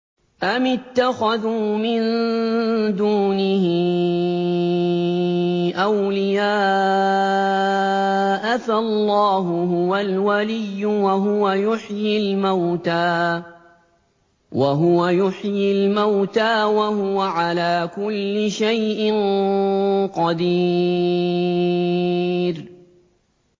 أَمِ اتَّخَذُوا مِن دُونِهِ أَوْلِيَاءَ ۖ فَاللَّهُ هُوَ الْوَلِيُّ وَهُوَ يُحْيِي الْمَوْتَىٰ وَهُوَ عَلَىٰ كُلِّ شَيْءٍ قَدِيرٌ